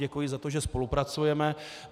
Děkuji za to, že spolupracujeme.